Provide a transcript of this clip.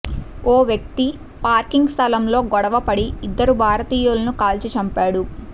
ఓ వ్యక్తి పార్కింగ్ స్థలంలో గొడవపడి ఇద్దరు భారతీయులను కాల్చి చంపాడు